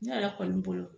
Ne yɛrɛ kɔni bolo